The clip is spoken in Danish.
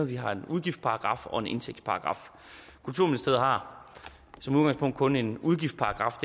vi har en udgiftsparagraf og en indtægtsparagraf kulturministeriet har som udgangspunkt kun en udgiftsparagraf